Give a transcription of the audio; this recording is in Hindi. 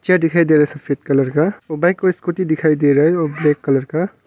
क्या दिखाई दे रहा है सफेद कलर का बाइक और स्कूटी दिखाई दे रहा है ब्लैक कलर का।